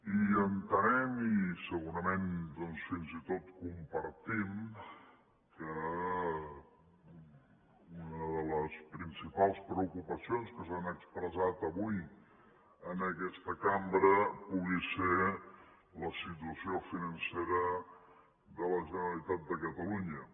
i entenem i segurament doncs fins i tot compartim que una de les principals preocupacions que s’han expressat avui en aquesta cambra pugui ser la situació financera de la generalitat de catalunya